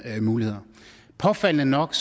muligheder påfaldende nok